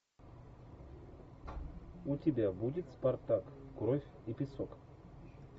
у тебя будет спартак кровь и песок